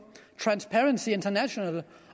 transparency international